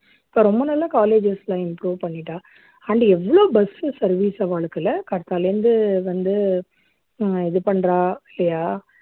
இப்போ ரொம்ப நல்லா colleges எல்லாம் improve பண்ணிட்டா and எவ்ளோ bus service அவாளுக்குல்ல காத்தால இருந்து வந்து ஹம் இது பண்றா இல்லையா